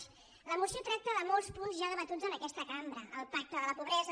la moció tracta de molts punts ja debatuts en aquesta cambra el pacte de la pobresa